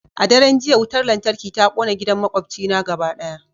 A daren jiya wutar lantarki ta kona gidan makwabcina gaba daya